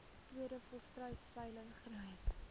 tweede volstruisveiling groot